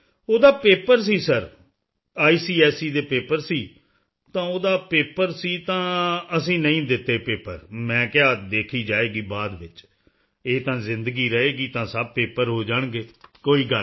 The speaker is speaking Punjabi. ਉਸ ਦਾ ਪੇਪਰ ਸੀ ਸਿਰ ਆਈਸੀਐਸਈ ਦੇ ਪੇਪਰ ਸਨ ਤਾਂ ਉਸ ਦਾ ਪੇਪਰ ਸੀ ਤਾਂ ਅਸੀਂ ਨਹੀਂ ਦਿੱਤੇ ਪੇਪਰ ਮੈਂ ਕਿਹਾ ਦੇਖੀ ਜਾਏਗੀ ਬਾਅਦ ਵਿੱਚ ਇਹ ਤਾਂ ਜ਼ਿੰਦਗੀ ਰਹੇਗੀ ਤਾਂ ਸਭ ਪੇਪਰ ਹੋ ਜਾਣਗੇ ਕੋਈ ਗੱਲ ਨਹੀਂ